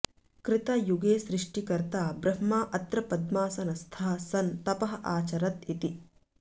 कृतयुगे सृष्टिकर्ता ब्रह्मा अत्र पद्मासनस्थः सन् तपः आचरत् इति